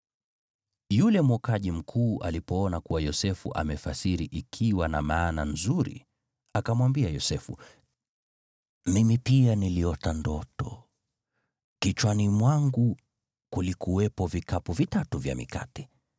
Yule mwokaji mkuu alipoona kuwa Yosefu amefasiri ikiwa na maana nzuri, akamwambia Yosefu, “Mimi pia niliota ndoto: Kichwani mwangu kulikuwepo vikapu vitatu vya mikate.